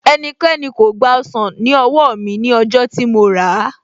Ẹnikẹ́ni kò gba ọsàn ní owó mi ní ọjọ́ tí mo ràá